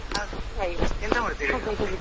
ಎಂತ ಮಾಡ್ತೀರಿ ಇವಾಗ?